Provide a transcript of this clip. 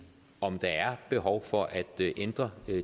om der er behov for at ændre